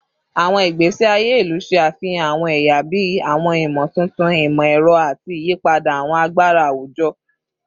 Awọn igbesi aye ilu ṣe afihan awọn ẹya bii awọn imotuntun imọ-ẹrọ ati iyipada awọn agbara awujọ